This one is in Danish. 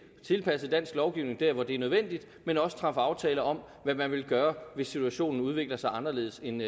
at tilpasse dansk lovgivning der hvor det er nødvendigt men også træffe aftaler om hvad man vil gøre hvis situationen udvikler sig anderledes end